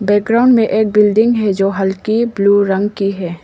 Background में एक building है जो हल्की ब्लू रंग की है।